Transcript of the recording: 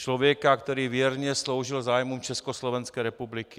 Člověka, který věrně sloužil zájmům Československé republiky.